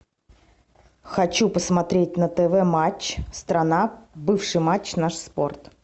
хочу посмотреть на тв матч страна бывший матч наш спорт